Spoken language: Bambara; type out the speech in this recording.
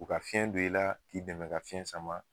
U ka fiyɛn don i la k'i dɛmɛ ka fiyɛn sama.